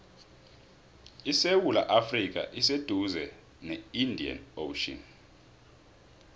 isewula afrika iseduze ne indian ocean